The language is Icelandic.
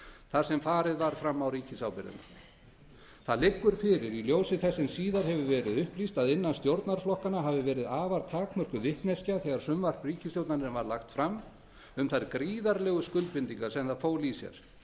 þar sem farið var fram á ríkisábyrgðina það liggur fyrir í ljósi þess sem síðar hefur verið upplýst að þegar frumvarp ríkisstjórnarinnar var lagt fram hafi verið afar takmörkuð vitneskja innan stjórnarflokkanna um þær gríðarlegu skuldbindingar sem það fól í sér